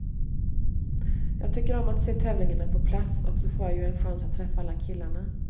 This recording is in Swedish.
Jag tycker om att se tävlingarna på plats och så får jag ju en chans att träffa alla killarna.